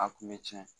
A kun bɛ tiɲɛ